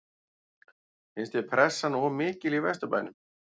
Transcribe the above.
Finnst þér pressan of mikil í Vesturbænum?